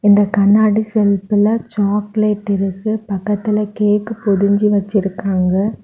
இந்த கண்ணாடி செல்ஃப்ல சாக்லேட் இருக்கு பக்கத்துல கேக் பொடிஞ்சி வச்சிருக்காங்க.